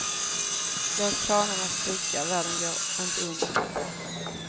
Låt planerna spricka, världen går inte under för det.